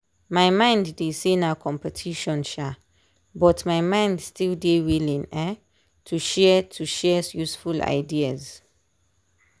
my mind dey say na competition um but my mind still dey willing um to share to share useful ideas.